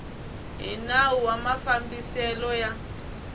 hi nawu wa mafambiselo ya